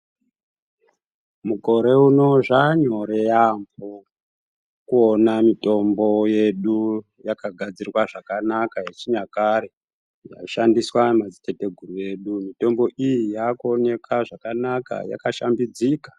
Mukore unowu zvanyore yambo kuona mitombo yedu yakagadzirwa zvakanaka yechinyakare yaishandiswa nemadzitate guru edu mitombo iyi yakuonekwa yakanaka yakashambudzika.